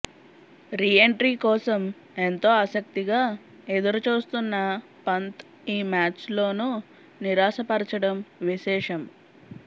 reentry కోసం ఎంతో ఆసక్తిగా ఎదురు చూస్తున్న పంత్ ఈ మ్యాచ్లోను నిరాశపరచడం విశేషం